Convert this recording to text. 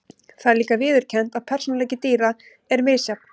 Það er líka viðurkennt að persónuleiki dýra er misjafn.